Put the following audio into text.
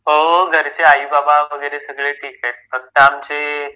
हो घरचे आई बाबा वैगेरे सगळे ठीक आहे. फक्त आमचे